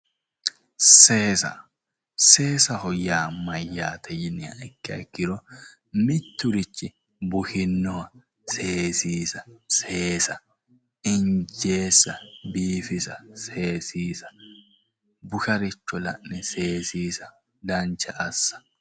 Seesa seesaho yaa mayyaate yiniha ikkiha ikkiro mitturichi bushe seesiisa injeessa biifisa seesiisa busharicho la'ne seesiisa dancha assa